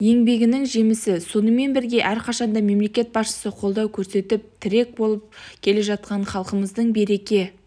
еңбегінің жемісі сонымен бірге әрқашанда мемлекет басшысына қолдау көрсетіп тірек болып келе жатқан халқымыздың береке